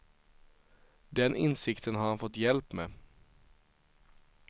Den insikten har han fått hjälp med.